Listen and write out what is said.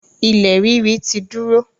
ilẹ̀ ríri ti dúró.